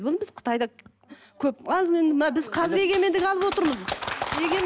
біз қытайда көп біз қазір егемендік алып отырмыз